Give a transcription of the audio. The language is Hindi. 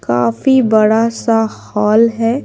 काफी बड़ा सा हॉल है।